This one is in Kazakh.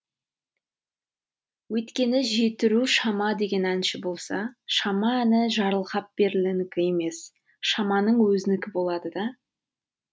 өйткені жетіру шама деген әнші болса шама әні жарылғапберлінікі емес шаманың өзінікі болады да